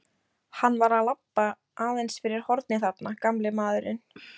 Hann var að labba aðeins fyrir hornið þarna, gamli maðurinn.